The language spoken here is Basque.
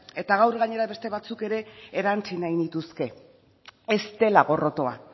eta gaur gainera beste batzuk ere erantsi nahi nituzke ez dela gorrotoa